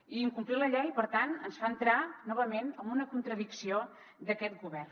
i incomplir la llei per tant ens fa entrar novament en una contradicció d’aquest govern